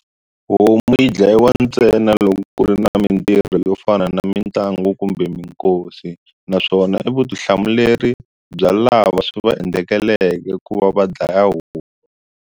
Homu yi dlayiwa ntsena loko ku ri na mintirho yo fana na mitlangu kumbe minkosi naswona i vutihlamuleri bya lava swi va endlekeleke ku va va dlaya homu.